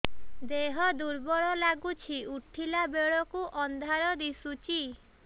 ଦେହ ଦୁର୍ବଳ ଲାଗୁଛି ଉଠିଲା ବେଳକୁ ଅନ୍ଧାର ଦିଶୁଚି